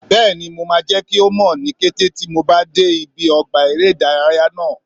Bẹ́ẹ̀ni, mo máa jẹ́ kí mọ̀ ní kété tí mo bá dé ibi ọgbà eré ìdárayá náà